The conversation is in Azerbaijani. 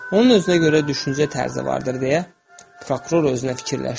Onun özünə görə düşüncə tərzi vardır, deyə prokuror özünə fikirləşdi.